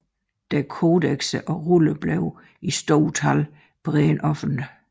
Deres kodekser og ruller blev i stort tal brændt offentligt